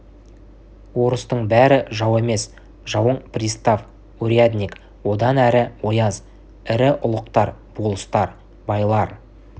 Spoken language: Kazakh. орыстың бәрі жау емес жауың пристав урядник одан әрі ояз ірі ұлықтар болыстар байлар